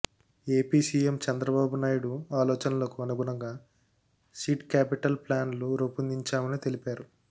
AP CM Chandrababu Naidu ఆలోచనలకు అనుగుణంగా seed capital ప్లాన్ను రూపొందించామని తెలిపారు